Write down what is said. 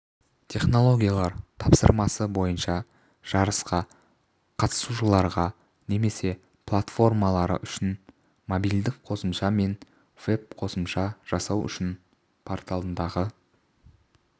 технологиялар тапсырмасы бойынша жарысқа қатысушыларға немесе платформалары үшін мобильдік қосымша мен веб-қосымша жасау үшін порталындағы